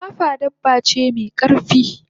gaggafa dabba ce me karfi